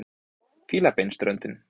Fílabeinsströndin